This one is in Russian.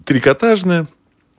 трикотажная